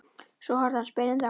Svo horfði hann spyrjandi á mig.